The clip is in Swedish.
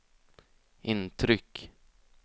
intryck